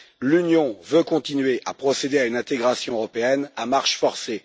L'Union veut continuer à procéder à une intégration européenne à marche forcée.